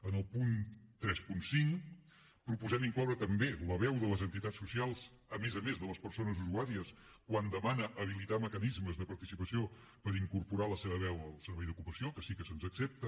en el punt trenta cinc proposem incloure també la veu de les entitats socials a més a més de les persones usuàries quan demana habilitar mecanismes de participació per incorporar la seva veu al servei d’ocupació que sí que se’ns accepta